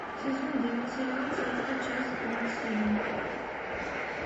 сезон девять сериал царство часть двадцать один